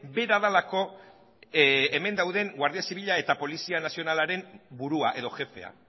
bera delako hemen dauden guardia zibila eta polizia nazionalaren burua edo jefea